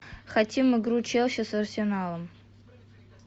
хотим игру челси с арсеналом